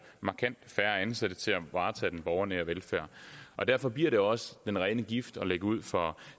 markant færre ansatte til at varetage den borgernære velfærd derfor bliver det også den rene gift at lægge ud for